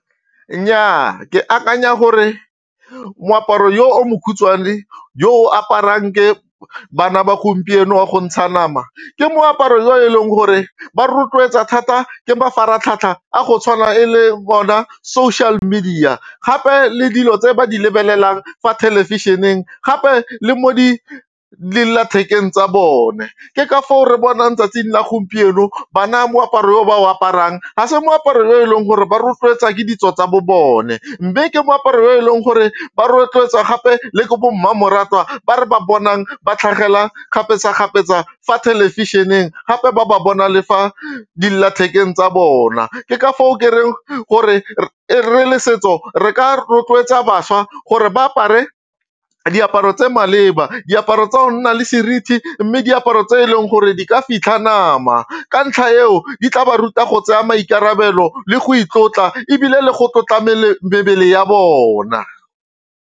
Nnyaa ke akanya gore moaparo yo o mokhutswane yo o aparang ke bana ba gompieno wa go ntsha nama ke moaparo yo e leng gore ba rotloetsa thata ke mafaratlhatlha a go tshwana e le bona social media gape le dilo tse ba di lebelelang fa thelebišeneng gape le mo dillathekeng tsa bone ke ka foo re bonang 'tsatsing la gompieno bana moaparo o ba o aparang ga se moaparo yo e leng gore ba rotloetsa ke ditso tsa bo bone mme ke moaparo o e leng gore ba rotloetsa gape le ke bo mmamoratwa ba re ba bonang ba tlhagelela kgapetsa-kgapetsa fa thelebišeneng gape ba ba bona le fa dillathekeng tsa bona ke ka foo ke reng gore re le setso re ka rotloetsa tsa bašwa gore ba apare diaparo tse maleba diaparo tsa go nna le seriti mme diaparo tse e leng gore di ka fitlha nama, ka ntlha eo di tla ba ruta go tsaya maikarabelo le go itlotla ebile le go tlotla mebele ya bona.